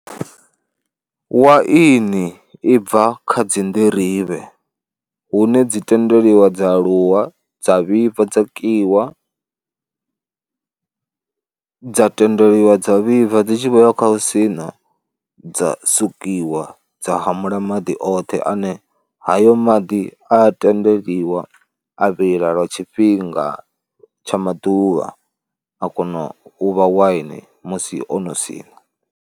Waini i bva kha dzi nḓirivhe hune dzi tendeliwa dza aluwa, dza vhibva, dza kiwa, dza tendeliwa dza vhibva dzi tshi vho ya kha hu sina dza sukiwa dza hamula maḓi oṱhe ane hayo maḓi a tendeliwa a vhila lwa tshifhinga tsha maḓuvha, a kona u vha waini musi o no siṋa.